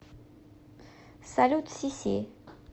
салют сиси